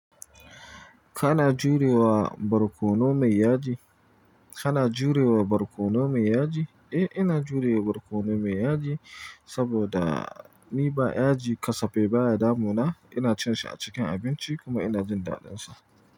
Kana jurewa barkono mai yaji? Kana jurewa barkono mai yaji? Eh, ina jurewa barkono mai yaji saboda ni ba yaji kasafai baya damuna. Ina cin shi a cikin abinci kuma ina jin daɗinsa.